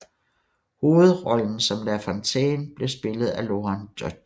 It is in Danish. Hovedrollen som La Fontaine blev spillet af Lorant Deutsch